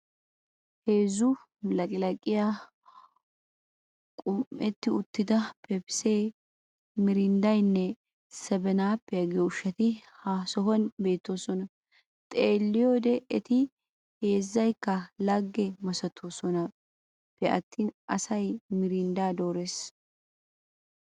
Hezzu laqilaqiyaa qum'etti uttida pepisse, mirinddanne 'sebene- appiya' giyo ushshatti ha sohuwaani beetosona. Xeeliyode etti heezaykka lage masatonappe attini asay mirindda doores.